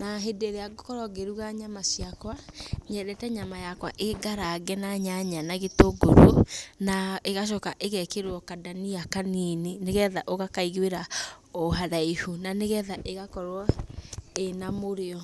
Na hĩndĩ ĩrĩa ngũkorwo ngĩruga nyama ciakwa, nyendete nyama yakwa ĩ ngarange na nyanya na gĩtũngũrũ, na ĩgacoka ĩgekĩrwo kandania kanini, nĩgetha ũgakaiguĩra haraihu, nĩgetha ĩgakorwo ĩna mũrĩo.